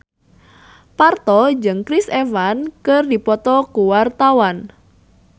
Parto jeung Chris Evans keur dipoto ku wartawan